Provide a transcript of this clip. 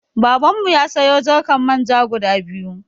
Babanmu ya sayo jarkan Manja guda biyu.